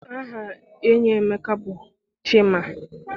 Aha enyi Emeka bụ Chima.